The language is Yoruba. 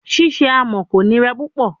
Ṣiṣe amọ ko nira pupọ